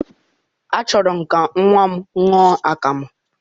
Achọrọ m ka nnwa m ṅụọ akamụ